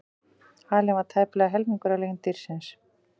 Halinn var tæplega helmingur af lengd dýrsins.